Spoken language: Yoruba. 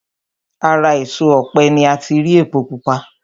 Ara èso ọ̀pẹ ni ati rí epo pupa